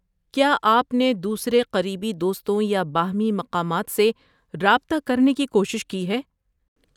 کیا آپ نے دوسرے قریبی دوستوں یا باہمی مقامات سے رابطہ کرنے کی کوشش کی ہے؟